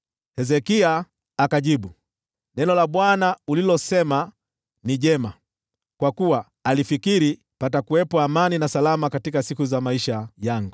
Hezekia akamjibu Isaya, “Neno la Bwana ulilosema ni jema.” Kwa kuwa alifikiri, “Patakuwepo amani na usalama wakati wa uhai wangu.”